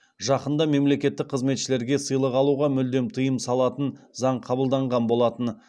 жақында мемлекеттік қызметшілерге сыйлық алуға мүлдем тыйым салатын заң қабылданған болатын